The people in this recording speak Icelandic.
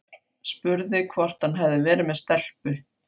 Spurði hvort hann hefði verið með stelpu.